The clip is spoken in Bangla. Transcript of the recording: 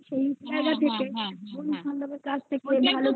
সেই জায়গা থেকে হ্যাঁ বন্ধু বান্ধবের কাছ থেকে